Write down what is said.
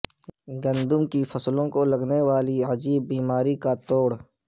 گندم کی فصلوں کو لگنے والی عجیب بیماری کا توڑ